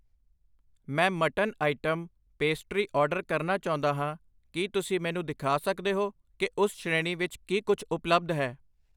ਮੈਂ mutton item, pastry order ਕਰਨਾ ਚਾਹੁੰਦਾ ਹਾਂ, ਕੀ ਤੁਸੀਂ ਮੈਨੂੰ ਦਿਖਾ ਸਕਦੇ ਹੋ ਕਿ ਉਸ ਸ਼੍ਰੇਣੀ ਵਿੱਚ ਕੀ ਕੁਛ ਉਪਲੱਬਧ ਹੈ?